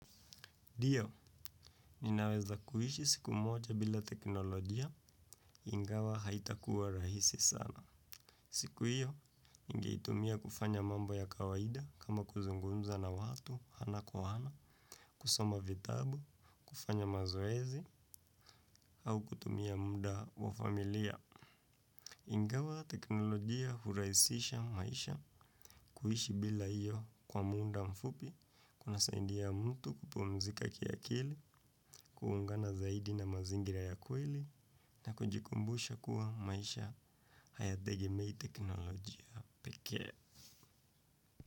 Ndio, ninaweza kuishi siku moja bila teknolojia ingawa haitakuwa rahisi sana. Siku hiyo, ningeitumia kufanya mambo ya kawaida kama kuzungumza na watu, ana kwa ana, kusoma vitabu, kufanya mazoezi, au kutumia muda wa familia. Ingawa teknolojia hurahisisha maisha kuishi bila hiyo kwa muda mfupi, kunasaidia mtu kupumzika kiakili, kuungana zaidi na mazingira ya kweli na kujikumbusha kuwa maisha hayategemei teknolojia.